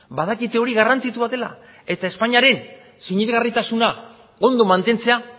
badakite hori garrantzitsua dela eta espainiaren sinesgarritasuna ondo mantentzea